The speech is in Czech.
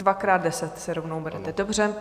Dvakrát deset si rovnou berete, dobře.